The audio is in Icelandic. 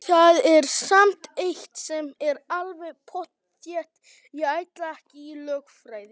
Það er samt eitt sem er alveg pottþétt: Ég ætla ekki í lögfræði!